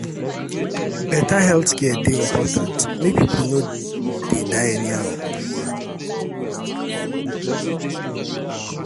better healthcare dey important make people no dey die anyhow.